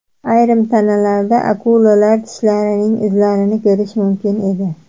Ayrim tanalarda akulalar tishlarining izlarini ko‘rish mumkin edi.